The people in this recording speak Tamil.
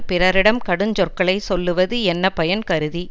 பிறரிடம் கடுஞ்சொற்களை சொல்லுவது என்ன பயன் கருதி